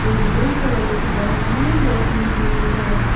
एक blue colour की dustbin रखी हुई है।